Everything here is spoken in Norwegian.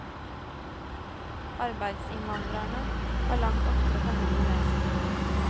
Arbeidsinnvandrerne har langt oftere familie med seg.